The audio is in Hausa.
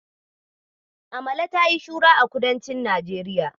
Amala tayi shuhura a kudancin Najeriya.